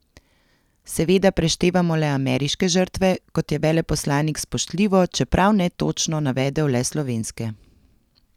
Seveda preštevamo le ameriške žrtve, kot je veleposlanik spoštljivo, čeprav netočno, navedel le slovenske.